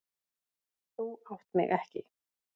Þú átt mig ekki.